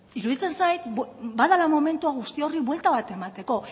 iruditzen zait badela momentua guzti horri buelta bat emateko